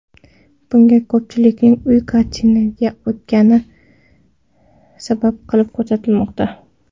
Bunga ko‘pchilikning uy karantiniga o‘tgani sabab qilib ko‘rsatilmoqda.